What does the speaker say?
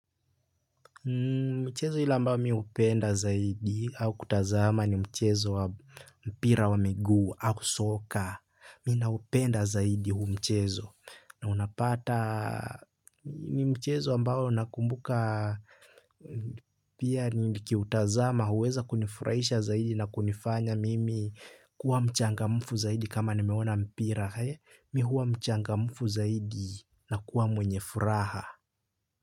Mchezo ile ambao mi hupenda zaidi au kutazama ni mchezo wa mpira wa miguu au soka. Mi naupenda zaidi huu mchezo na unapata ni mchezo ambao nakumbuka pia nikiutazama huweza kunifurahisha zaidi na kunifanya mimi kuwa mchangamfu zaidi kama nimeona mpira. Mi huwa mchangamfu zaidi na kuwa mwenye furaha.